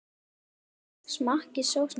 Smakkið sósuna til.